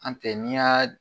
An tɛ n'i y'a